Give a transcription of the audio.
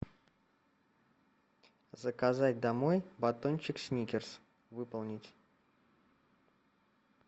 заказать домой батончик сникерс выполнить